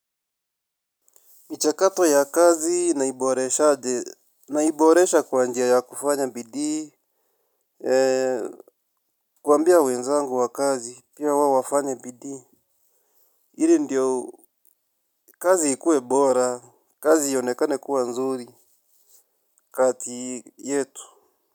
Michakato ya kazi naiboreshaje naiboresha kwa njia ya kufanya bidii. Kuambia wenzangu wa kazi pia wao wafanye bidii ili ndio kazi ikue bora. Kazi ionekane kuwa nzuri. Kati yetu.